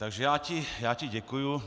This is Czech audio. Takže já ti děkuju.